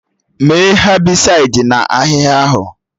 Mee Hebịsaịdi na ahịhịa ahụ!